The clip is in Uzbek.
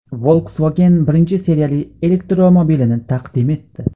Volkswagen birinchi seriyali elektromobilini taqdim etdi.